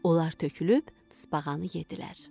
Onlar tökülüb tısbağanı yeddilər.